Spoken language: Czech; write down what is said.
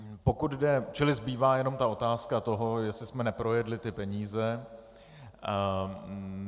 Čili zbývá jenom ta otázka toho, jestli jsme neprojedli ty peníze.